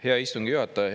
Hea istungi juhataja!